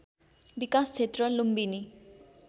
विकास क्षेत्र लुम्बिनी